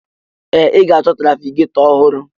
Ee! Ị ga-achọ trafigetọ ọhụrụ.